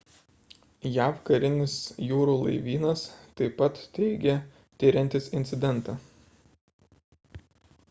jav karinis jūrų laivynas taip pat teigė tiriantis incidentą